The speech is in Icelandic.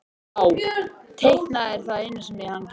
Já, teikna er það eina sem hún getur.